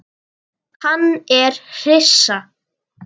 Hann er hissa.